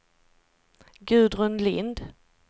Gudrun Lindh